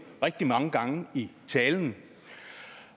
rigtig mange gange i talen